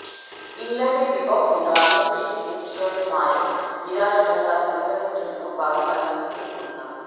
ইংল্যান্ডের বিপক্ষে বাংলাদেশের টেস্ট জয়ের নায়ক মিরাজ ও তার পরিবারের জন্য বাড়ি বানিয়ে দিতে খুলনা